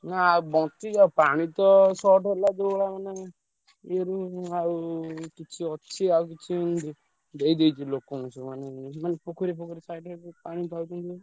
ନା ବଞ୍ଚିଛି ଆଉ ପାଣି ତ short ହେଲା ଯୋଉ ଭଳିଆ ମାନେ ଇଏରେ ଆଉ କିଛି ଅଛି ଆଉ କିଛି ଦେଇଦେଇଛି ଲୋକଙ୍କୁ ସବୁ ମାନେ ମାନେ ପୋଖରୀ ଫୋଖରୀ side ରେ ପାଣି ପାଉଛନ୍ତି।